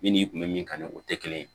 Min n'i kun bɛ min kan ni o tɛ kelen ye